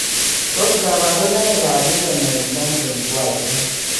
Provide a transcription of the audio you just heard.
Tos kabarunoik ab Yellow nail syndrome ko achon?